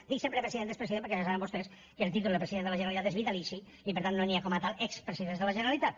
dic sempre president i expresident perquè ja saben vostès que el títol de president de la generalitat és vitalici i per tant no hi ha com a tals expresidents de la generalitat